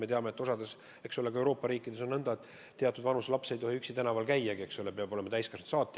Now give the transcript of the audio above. Me teame, et osas Euroopa riikides on nõnda, et teatud vanuses laps ei tohi üksi tänaval käiagi, eks ole, ta peab olema koos täiskasvanud saatjaga.